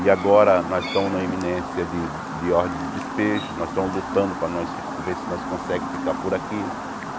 E agora nós estamos na iminência de de ordem de despejo, nós estamos lutando para nós fi ver se nós conseguimos ficar por aqui.